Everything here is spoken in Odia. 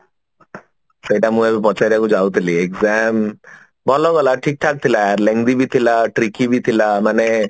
ସେଟା ମୁଁ ଏବେ ପଚାରିବାକୁ ଯାଉଥିଲି exam ଭଲ ଗଲା ଠିକ ଠାକ ଥିଲା ବି ଥିଲା tricky ବି ଥିଲା ମାନେ